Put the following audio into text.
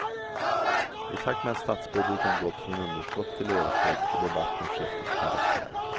I takt med att statsbudgeten gått från underskott till överskott har debatten skiftat karaktär.